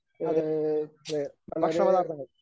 അതെ ഏഹ് ഭക്ഷണപദാർത്ഥങ്ങൾ